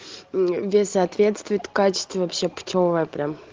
вес соответствует качество вообще путевое прям